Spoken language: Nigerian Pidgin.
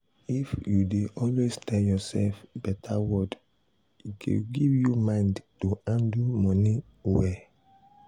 if you dey always tell yourself better word e go give you mind to handle money well.